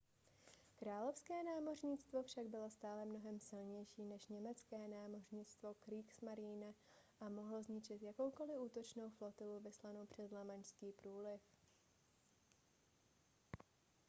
královské námořnictvo však bylo stále mnohem silnější než německé námořnictvo kriegsmarine a mohlo zničit jakoukoli útočnou flotilu vyslanou přes lamanšský průliv